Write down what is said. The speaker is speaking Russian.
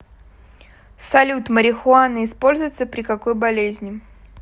салют марихуана используется при какой болезни